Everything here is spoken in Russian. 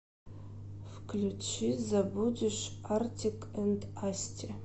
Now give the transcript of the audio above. включи забудешь артик энд асти